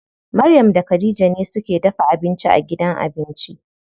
Maryam da Khadija ne suke dafa abinci a gidan abinci.